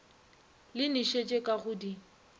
le nošetšo ka go di